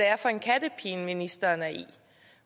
er for en kattepine ministeren er i